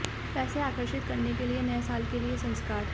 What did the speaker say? पैसे आकर्षित करने के लिए नए साल के लिए संस्कार